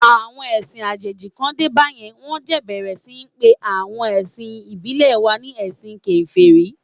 Àwọn ẹ̀sìn àjèjì kàn dé bá yẹn, wón jẹ̀ bẹ̀rẹ̀ sí ní pe awon ẹ̀sìn ìbílẹ̀ wa ni ẹ̀sìn Kèfèrí.